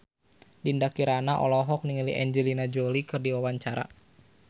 Dinda Kirana olohok ningali Angelina Jolie keur diwawancara